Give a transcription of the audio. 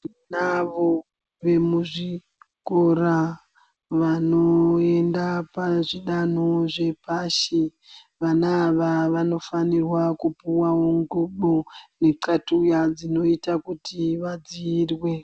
Tinavo vemuzvikora vanoenda pazvidanho zvepashi. Vana ava vanofanirwa kupuvavo ngubo nexatuya chinoita kuti vadziirwe.